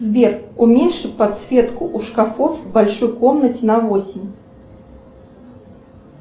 сбер уменьши подсветку у шкафов в большой комнате на восемь